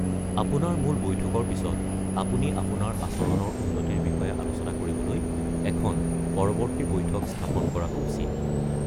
আপোনাৰ মূল বৈঠকৰ পিছত আপুনি আপোনাৰ আচৰণৰ উন্নতিৰ বিষয়ে আলোচনা কৰিবলৈ এখন পৰৱৰ্তী বেঠক স্থাপন কৰাটো উচিত।